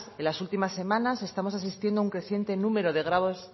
las últimas semanas estamos asistiendo a un creciente número